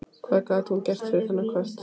Hvað gat hún gert fyrir þennan kött?